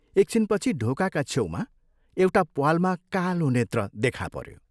एक छिन पछि ढोकाका छेउमा एउटा प्वालमा कालो नेत्र देखाह पऱ्यो।